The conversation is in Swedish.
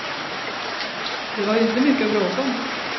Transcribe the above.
Det var ju inte mycket att bråka om.